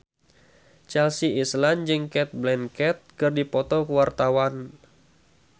Chelsea Islan jeung Cate Blanchett keur dipoto ku wartawan